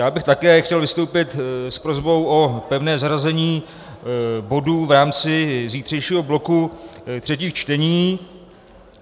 Já bych také chtěl vystoupit s prosbou o pevné zařazení bodů v rámci zítřejšího bloku třetích čtení.